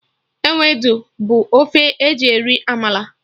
Ewedu bụ ofe eji eri amala